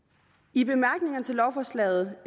i bemærkningerne til lovforslaget